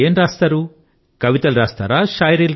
మీరు ఏమి వ్రాస్తారు కవితలు వ్రాస్తారా